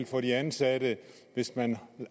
for de ansatte hvis man